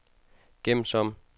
gem som